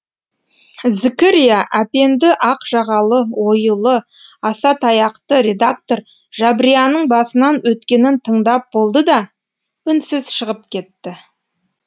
зікірия әпенді ақ жағалы оюлы аса таяқты редактор жабрияның басынан өткенін тыңдап болды да үнсіз шығып кетті